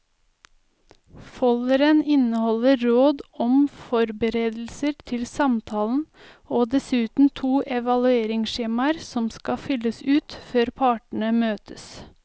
Folderen inneholder råd om forberedelser til samtalen og dessuten to evalueringsskjemaer som skal fylles ut før partene møtes.